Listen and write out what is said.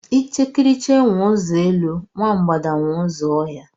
Ichekiriche nwe ụzọ elu nkwụ, nwa mgbada nwe ụzọ ọhịa.